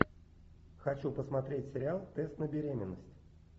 хочу посмотреть сериал тест на беременность